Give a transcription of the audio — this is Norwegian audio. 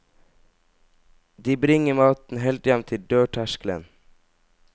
De bringer maten helt hjem til dørterskelen.